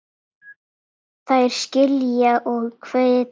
Þær skilja og hvetja.